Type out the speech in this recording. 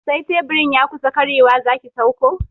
Sai teburin ya kusa karyewa zaki sauko